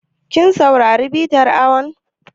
Kin saurari bitar awon?